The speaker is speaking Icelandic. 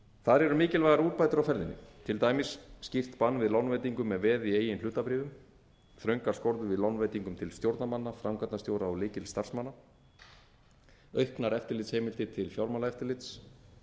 þar eru mikilvægar úrbætur á ferðinni til dæmis skýrt bann við lánveitingum með veði í eigin hlutabréfum þröngar skorður við lánveitingum til stjórnarmanna framkvæmdastjóra og lykilstarfsmanna auknar eftirlitsheimildir til fjármálaeftirlits